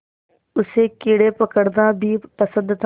उसे कीड़े पकड़ना भी पसंद था